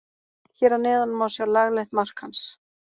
Hér að neðan má sjá laglegt mark hans.